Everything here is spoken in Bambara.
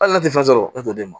Hali n'a tɛ fɛn sɔrɔ e t'o di ma